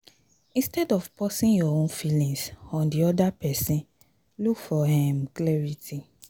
instead of pusing your own feelings on di oda person look for um clarity